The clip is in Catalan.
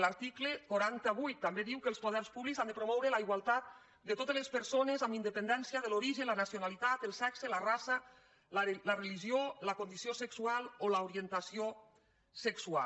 l’article quatre cents i vuit també diu que els poders públics han de promoure la igualtat de totes les persones amb independència de l’origen la nacionalitat el sexe la raça la religió la condició sexual o l’orientació sexual